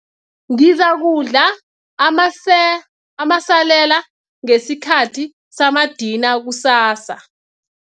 Ngizakudla amasalela ngesikhathi samadina kusasa.